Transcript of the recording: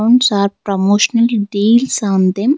Rooms are promotionally deals on them.